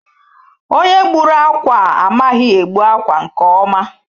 Onye gbùrù ákwà a, amaghị egbu akwa nke ọma.